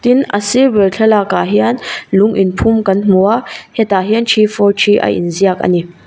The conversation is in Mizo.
tin a sir ber thlalak ah hian lung in phum kan hmu a hetah hian three four three a in ziak ani.